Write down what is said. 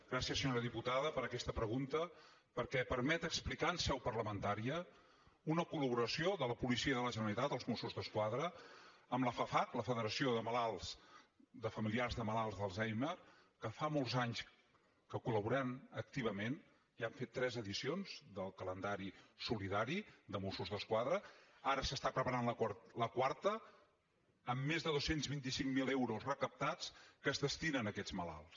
gràcies senyora diputada per aquesta pregunta perquè permet explicar en seu parlamentària una col·laboració de la policia de la generalitat els mossos d’esquadra amb la fafac la federació de familiars de malalts d’alzheimer que fa molts anys que col·laborem activament ja hem fet tres edicions del calendari solidari de mossos d’esquadra ara s’està preparant la quarta amb més de dos cents i vint cinc mil euros recaptats que es destinen a aquests malalts